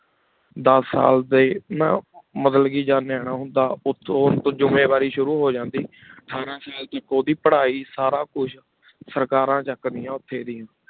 ਦਸ ਸਾਲ ਡੀ ਨਾ ਮਤਲਬ ਕੀ ਜਦ ਨਿਆਣਾ ਹੁੰਦਾ ਉਠਉਣ ਜੁਮਾਯਨ ਵਾਰੀ ਸ਼ੁਰੂ ਹੂ ਜਾਂਦੀ ਅਠਾਰਾਂ ਸਾਲ ਤਕ ਉੜੀ ਪਢ਼ਾਈ ਸਾਰਾ ਕੁਛ ਸਰਕਾਰਨ ਚਕ ਦੇਆਯਨ ਉਠੀ ਡੇਯ